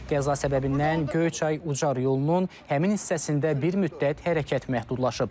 Qəza səbəbindən Göyçay Ucar yolunun həmin hissəsində bir müddət hərəkət məhdudlaşıb.